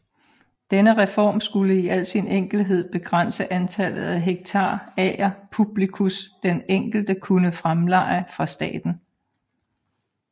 Denne reform skulle i al sin enkelhed begrænse antallet af hektar ager publicus den enkelte kunne fremleje fra staten